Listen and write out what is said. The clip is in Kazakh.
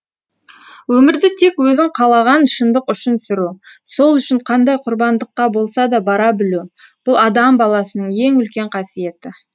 өмірді тек өзің қалаған шындық үшін сүру сол үшін қандай құрбандыққа болса да бара білу бұл адам баласының ең үлкен қасиеті